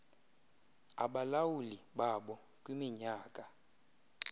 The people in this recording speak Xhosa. abalawuli babo kwiminyaka